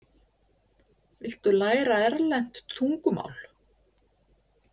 Viltu læra erlent tungumál?